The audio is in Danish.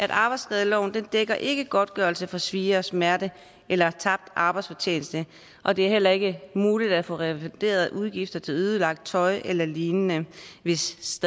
arbejdsskadeloven dækker ikke godtgørelse for svie og smerte eller tabt arbejdsfortjeneste og det er heller ikke muligt at få refunderet udgifter til ødelagt tøj eller lignende hvis